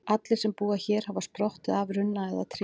Allir sem búa hér hafa sprottið af runna eða tré.